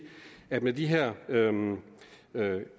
at med de her